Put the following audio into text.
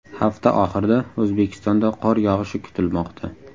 Hafta oxirida O‘zbekistonda qor yog‘ishi kutilmoqda.